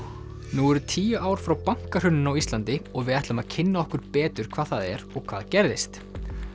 nú eru tíu ár frá bankahruninu á Íslandi og við ætlum að kynna okkur betur hvað það er og hvað gerðist